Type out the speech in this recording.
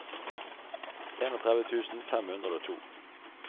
trettien tusen fem hundre og to